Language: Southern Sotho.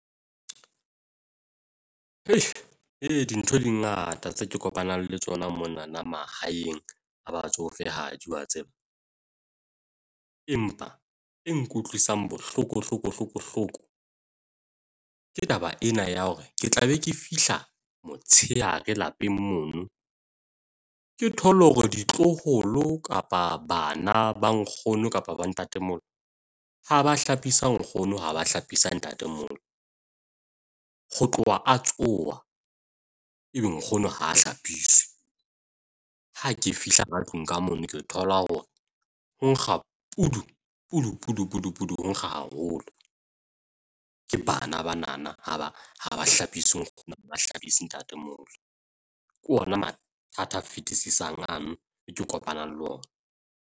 Dintho di ngata tse ke kopanang le tsona monana mahaeng a batsofehadi wa tseba. Empa e nkutlwisang bohloko hloko bohloko hloko ke taba ena ya hore ke tla be ke fihla motsheare lapeng mono. Ke thole hore ditloholo kapa bana ba nkgono kapa ba ntatemolo ha ba hlapisa nkgono ha ba hlapisa ntatemolo. ho tloha a tsoha, ebe nkgono ha hlapiswe. Ha ke fihla ka tlung ka mono ke thola hore nkga kudu kudu kudu kudu kudu ho nkga haholo. Ke bana banana ha ha ba hlapise ha ba hlapise ntatemolo. Ke ona mathata a fetisisang ano e ke kopanang le ona.